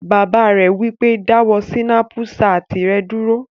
Bàbá rẹ̀ wí pé, "dáwọ́ sínápù satì rẹ dúró!"